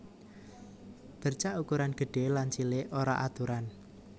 Bercak ukuran gedhé lan cilik ora aturan